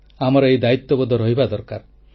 ଆମର ଏହି ଦାୟିତ୍ୱବୋଧ ରହିବା ଦରକାର